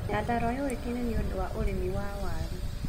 Nyandarũa yũũĩkaine nĩũndũ wa urĩmi wa waaru